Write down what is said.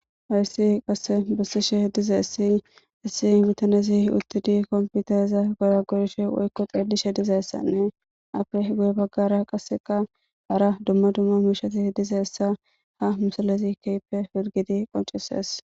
Hayssi qasse bissishe dizass issi bitanezi uttidi komputaeza goya gorishe woykko xeedishe dizeessanne afe guye baggara qasseka hara dumma dumma miishati dizeessa ha misalezi keype firgidi qoncises.